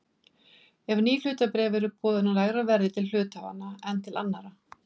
ef ný hlutabréf eru boðin á lægra verði til hluthafa en til annarra.